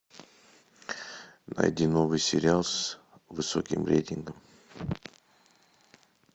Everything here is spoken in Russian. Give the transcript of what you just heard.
найди новый сериал с высоким рейтингом